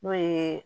N'o ye